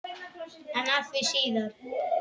En að því síðar.